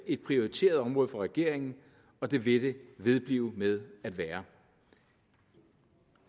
et prioriteret område for regeringen og det vil det vedblive med at være